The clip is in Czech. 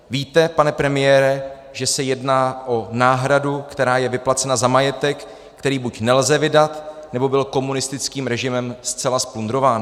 Víte, pane premiére, že se jedná o náhradu, která je vyplacena za majetek, který buď nelze vydat, nebo byl komunistickým režimem zcela zplundrován?